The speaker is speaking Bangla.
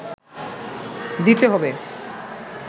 দিতে হবে